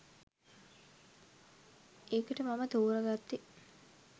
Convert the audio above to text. ඒකට මම තෝරගත්තෙ